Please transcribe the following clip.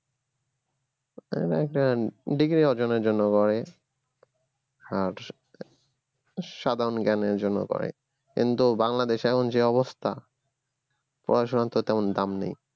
ঐতো একটান degree অর্জনের জন্য করে আর সাধারণ জ্ঞানের জন্য করে কিন্তু বাংলাদেশে এখন যে অবস্থা পড়াশোনার তো তেমন দাম নাই